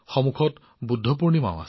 তাৰ পিছত আছে বুদ্ধ পূৰ্ণিমা